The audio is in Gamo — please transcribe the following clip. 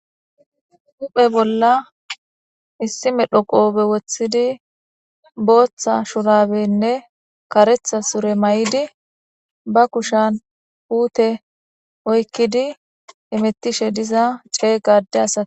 Huphe bolla issi medho qofe wothidi botha shurabenne karetha sure mayidi ba kushan putte oykidi hametishe diza ade asati de'osona.